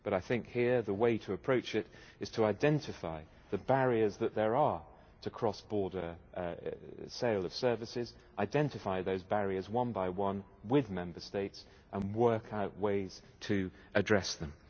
I think the way to approach this is to identify the barriers that there are to cross-border sale of services, identify those barriers one by one with Member States and work out ways to address them.